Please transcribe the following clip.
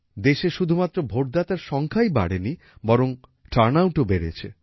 দেশে শুধুমাত্র ভোটদাতার সংখ্যাই বাড়েনি বরং টার্নআউটও বেড়েছে